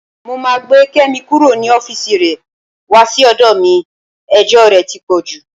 Mo máa gbé Kẹ́mi kúrò ní ọ́fíìsì rẹ wá sí ọ̀dọ̀ mi, ẹjọ́ rẹ ti pọ̀ jù.